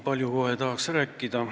Tahaks kohe nii palju rääkida.